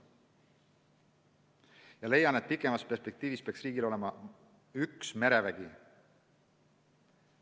Ma leian, et kaugemas perspektiivis peaks riigil olema üks merevägi.